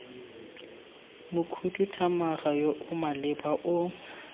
mokhuduthamaga yo o maleba o